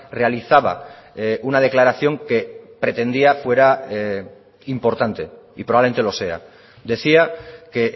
realizaba una declaración que pretendía fuera importante y probablemente lo sea decía que